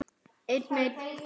Heyr mínar bænir og þrá.